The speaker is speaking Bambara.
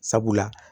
Sabula